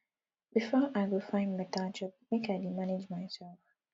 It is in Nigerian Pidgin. before i go find beta job make i dey manage mysef